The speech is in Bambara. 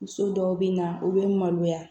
Muso dɔw bɛ na u bɛ maloya